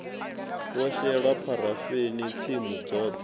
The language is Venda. wo shelwa pharafeni tsimu dzoṱhe